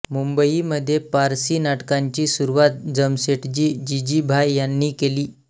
मुंबईमध्ये पारसी नाटकांची सुरुवात जमसेटजी जीजीभाय यांनी केली